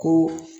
Ko